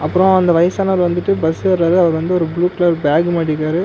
அப்றோ அந்த வயசானவர் வந்துட்டு பஸ் ஏற்றாரு அவர் வந்து ஒரு ப்ளூ கலர் பேக் மாட்டிருக்காரு.